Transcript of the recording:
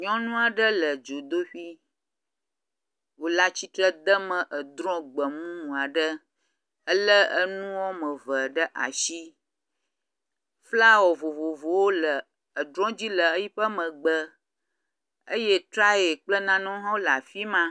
Nyɔnu aɖe le dzodoƒi wòle atsitre de me edrɔ̃ gbemumu aɖe elé enu woame ve ɖe asi. Flawɔ vovovowo le edrɔ̃ dzi yiƒe megbe eye trayɛ kple nanewo hã le afi ma.